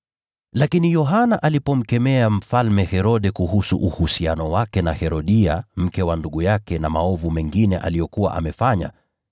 Lakini Yohana alipomkemea Mfalme Herode kuhusu uhusiano wake na Herodia, mke wa ndugu yake, na maovu mengine aliyokuwa amefanya,